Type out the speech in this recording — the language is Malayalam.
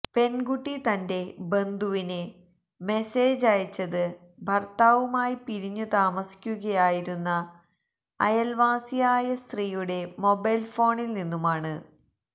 പെൺകുട്ടി തന്റെ ബന്ധുവിന് മെസേജ് അയച്ചത് ഭര്ത്താവുമായി പിരിഞ്ഞു താമസിക്കുകയായിരുന്ന അയല്വാസിയായ സ്ത്രീയുടെ മൊബൈല് ഫോണില് നിന്നുമാണ്